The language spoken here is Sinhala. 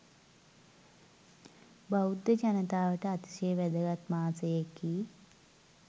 බෞද්ධ ජනතාවට අතිශය වැදගත් මාසයකි.